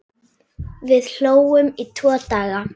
Við hlógum í tvo daga.